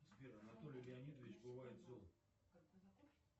сбер анатолий леонидович бывает зол